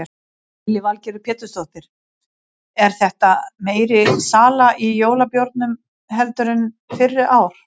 Lillý Valgerður Pétursdóttir: Er þetta meiri sala í jólabjórnum heldur en fyrri ár?